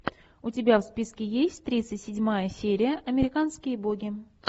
у тебя в списке есть тридцать седьмая серия американские боги